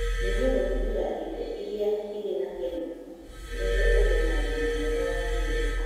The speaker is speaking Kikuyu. Nyihia gũtũmĩra irio iria irĩ na kemiko nĩguo ũgĩe na ũgima mwega wa mwĩrĩ.